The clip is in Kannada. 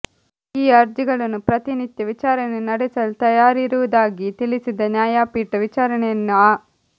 ಈ ಅರ್ಜಿಗಳನ್ನು ಪ್ರತಿನಿತ್ಯ ವಿಚಾರಣೆ ನಡೆಸಲು ತಯಾರಿರುವುದಾಗಿ ತಿಳಿಸಿದ ನ್ಯಾಯಪೀಠ ವಿಚಾರಣೆಯನ್ನು ಆ